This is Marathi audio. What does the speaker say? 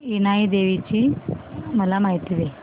इनाई देवीची मला माहिती दे